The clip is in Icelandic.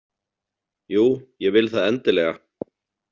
Jú, ég vil það endilega.